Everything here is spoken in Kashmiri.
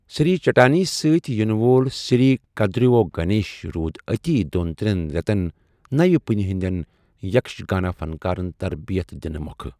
سری چٹانی سۭتۍ یِنہٕ وول سری کدیورو گنیش رُود اتی دۄن تریٛن ریتَن نوِ پُیہ ہندیٛن یکشگانا فنکارَن تربیت دِنہ مۄکھٕ۔